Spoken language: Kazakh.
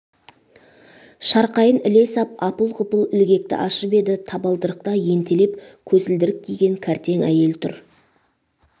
шарқайын іле сап апыл-ғұпыл ілгекті ашып еді табалдырықта ентелеп көзілдірік киген кәртең әйел тұр